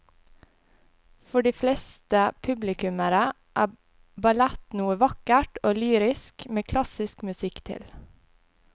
For de fleste publikummere er ballett noe vakkert og lyrisk med klassisk musikk til.